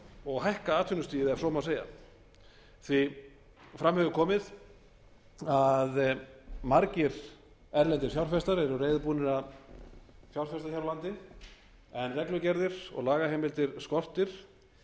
og hækka atvinnustigið ef svo má segja eins og fram hefur komið eru margir erlendir fjárfestar reiðubúnir að fjárfesta hér á landi en reglugerðir og lagaheimildir skortir